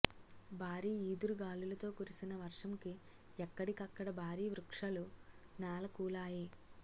బారి ఈదురు గాలులు తో కురిసిన వర్షం కి ఎక్కడికక్కడ భారీ వృక్షలు నేల కులాయి